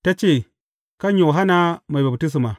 Ta ce, Kan Yohanna Mai Baftisma.